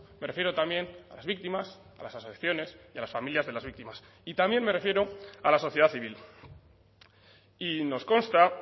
me refiero también a las víctimas a las asociaciones y a las familias de las víctimas y también me refiero a la sociedad civil y nos consta